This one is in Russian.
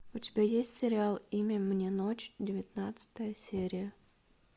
у тебя есть сериал имя мне ночь девятнадцатая серия